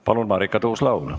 Palun, Marika Tuus-Laul!